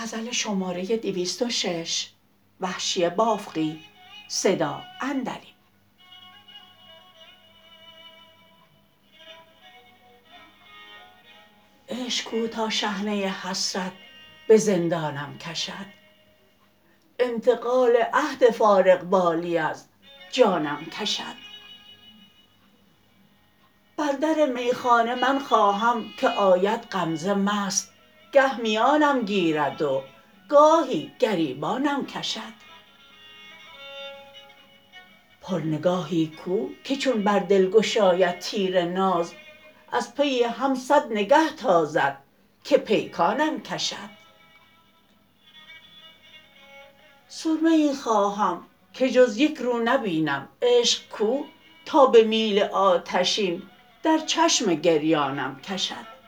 عشق کو تا شحنه حسرت به زندانم کشد انتقال عهد فارغ بالی از جانم کشد بر در میخانه من خواهم که آید غمزه مست گه میانم گیرد و گاهی گریبانم کشد پر نگاهی کو که چون بر دل گشاید تیر ناز از پی هم سد نگه تازد که پیکانم کشد سرمه ای خواهم که جز یک رو نبینم عشق کو تا به میل آتشین در چشم گریانم کشد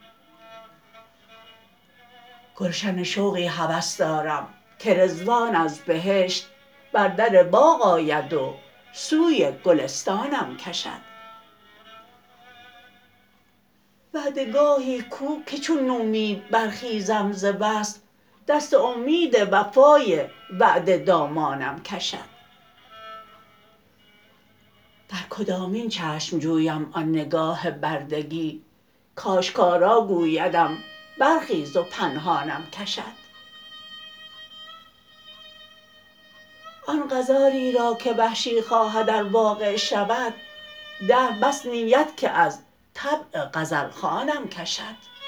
گلشن شوقی هوس دارم که رضوان از بهشت بر در باغ آید و سوی گلستانم کشد وعده گاهی کو که چون نومید برخیزم ز وصل دست امید وفای وعده دامانم کشد در کدامین چشم جویم آن نگاه بردگی کاشکارا گویدم برخیز و پنهانم کشد آن غزالی را که وحشی خواهد ار واقع شود دهر بس نیت که از طبع غزلخوانم کشد